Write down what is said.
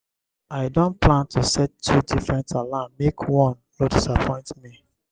i don plan to set two different alarm make one no disappoint me.